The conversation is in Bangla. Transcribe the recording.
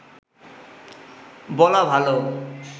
বলা ভালো